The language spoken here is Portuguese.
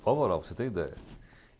Prova oral, para você ter ideia.